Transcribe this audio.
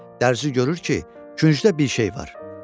Dərzi görür ki, küncdə bir şey var.